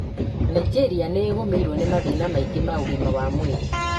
Nainjĩria nĩ ĩgũmĩirwo nĩ mathĩna maingĩ ma ũgima wa mwĩrĩ